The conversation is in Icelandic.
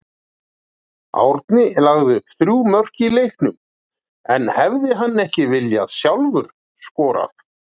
Árni lagði upp þrjú mörk í leiknum en hefði hann ekki sjálfur viljað skora?